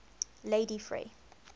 ladyfrey